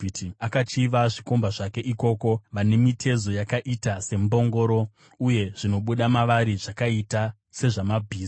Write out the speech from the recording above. Akachiva zvikomba zvake ikoko, vane mitezo yakaita sembongoro uye zvinobuda mavari zvakaita sezvamabhiza.